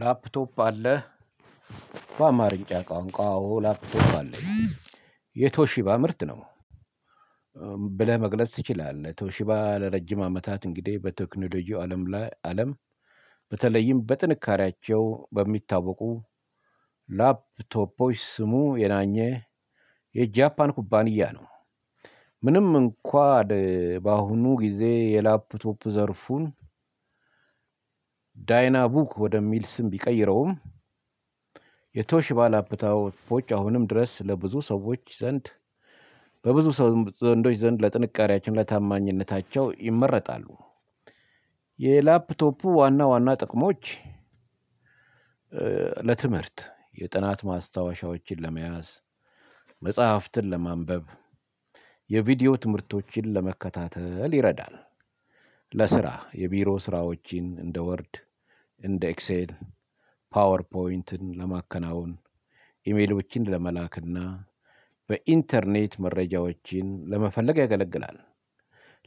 ላፕቶፕ አለህ? በአማርኛ ቋንቋ አዎ ላፕቶፕ አለኝ የቶሺባ ምርት ነው። ብለህ መግለጽ ትችላለህ ቶሺባ ለረጅም አመታት እንግዲህ በቴክኖሎጂው አለም ላይ አለም በተለይም በጥንካሬያቸው በሚታወቁ ላፕቶፖች ስሙ የናኘ የጃፓን ኩባንያ ነው። ምንም እንኳን በአሁኑ ጊዜ የላፕቶፕ ዘርፉን ዳይናቡክ ወደሚል ስም ቢቀይረውም። የቶሽባ ላፕቶፖች አሁንም ድረስ ለብዙ ሰዎች ዘንድ በብዙ ሰው ዘንዶች ዘንድ ለጥንካሬያቸው ለታማኝነታቸው ይመረጣሉ። የላፕቶፑ ዋና ዋና ጥቅሞች ለትምህርት የጥናት ማስታወሻዎችን ለመያዝ መጽሐፍትን ለማንበብ የቪዲዮ ትምህርቶችን ለመከታተል ይረዳል። ለስራ የቢሮ ስራዎችን እንደ ወርድ እንደ ኤክሴል ፓወር ፖይንትን ለማከናወን ኢሜሎችን ለመላክና በኢንተርኔት መረጃዎችን ለመፈለግ ያገለግላል።